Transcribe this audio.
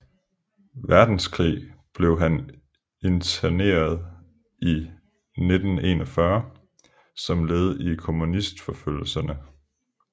Verdenskrig blev han interneret i 1941 som led i kommunistforfølgelserne